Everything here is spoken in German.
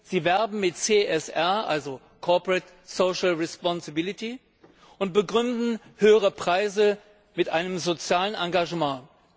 Sie werben mit CSR, also Corporate Social Responsibility und begründen höhere Preise mit einem sozialen Engagement.